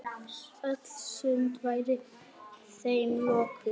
Öll sund væru þeim lokuð.